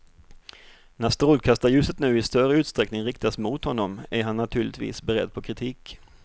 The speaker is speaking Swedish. När strålkastarljuset nu i större utsträckning riktas mot honom är han naturligtvis beredd på kritik.